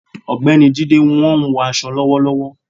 Ogbeni Jídé wọ́n ń hun aṣọ lọ́wọ́lọ́wọ́